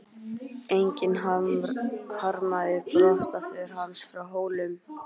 Enginn harmaði brottför hans frá Hólum.